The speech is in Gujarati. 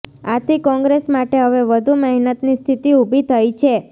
આથી કોંગ્રેસ માટે હવે વધુ મહેનતની સ્થિતિ ઉભી થઈ છે